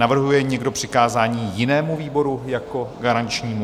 Navrhuje někdo přikázání jinému výboru jako garančnímu?